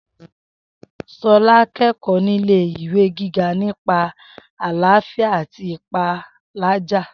S̩o̩lá ń ké̩kò̩ó̩ nílé ìwé gíga nípa àláfíà àti ìpálàjà